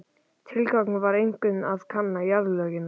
Tilgangurinn var einkum að kanna jarðlögin.